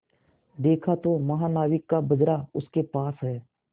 देखा तो महानाविक का बजरा उसके पास है